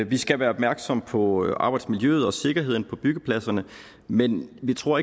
vi skal være opmærksom på arbejdsmiljøet og sikkerheden på byggepladserne men vi tror